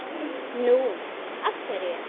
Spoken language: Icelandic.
Nú. af hverju?